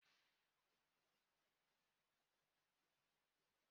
Udele n'eri anụ rére ere naanị